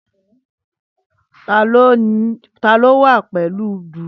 Tani o wa pẹlu dùùrù?